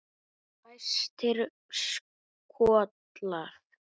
Fæstir skollar